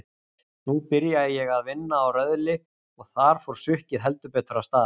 Nú byrjaði ég að vinna á Röðli og þar fór sukkið heldur betur af stað.